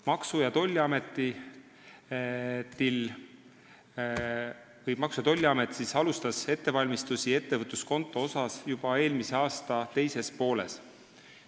Maksu- ja Tolliamet alustas ettevõtluskontoga seotud ettevalmistusi juba eelmise aasta teises pooles.